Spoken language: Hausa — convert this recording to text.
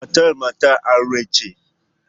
Matar matar aure ce.